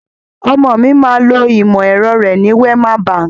Ọmọ mi máa lo ìmọ̀ ẹ̀rọ rẹ ní Wema Bank.